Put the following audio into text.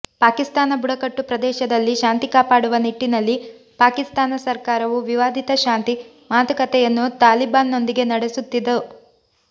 ಪಾಕಿಸ್ತಾನ ಬುಡಕಟ್ಟು ಪ್ರದೇಶದಲ್ಲಿ ಶಾಂತಿ ಕಾಪಾಡುವ ನಿಟ್ಟಿನಲ್ಲಿ ಪಾಕಿಸ್ತಾನ ಸರಕಾರವು ವಿವಾದಿತ ಶಾಂತಿ ಮಾತುಕತೆಯನ್ನು ತಾಲಿಬಾನ್ನೊಂದಿಗೆ ನಡೆಸುತ್ತಿತ್ತು